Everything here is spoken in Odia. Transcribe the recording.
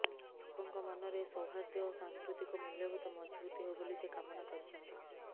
ଲୋକଙ୍କ ମନରେ ସୌହାର୍ଦ୍ଦ୍ୟ ଓ ସାଂସ୍କୃତିକ ମୂଲ୍ୟବୋଧ ମଜଭୁତ ହେଉ ବୋଲି ସେ କାମନା କରିଛନ୍ତି